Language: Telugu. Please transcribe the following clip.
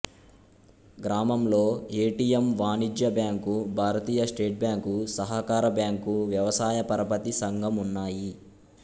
గ్రామంలో ఏటీఎమ్ వాణిజ్య బ్యాంకు భారతీయ స్టేట్ బ్యాంక్ సహకార బ్యాంకు వ్యవసాయ పరపతి సంఘం ఉన్నాయి